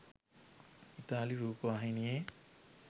ඉතාලි රූපවාහිනියේ